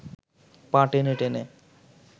পা টেনে টেনে